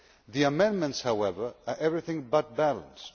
The amendments, however, are anything but balanced.